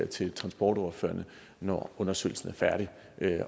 til transportordførerne når undersøgelsen er færdig